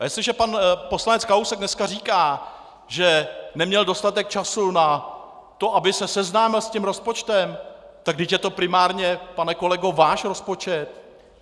A jestliže pan poslanec Kalousek dneska říká, že neměl dostatek času na to, aby se seznámil s tím rozpočtem, tak vždyť je to primárně, pane kolego, váš rozpočet!